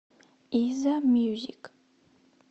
иззамьюзик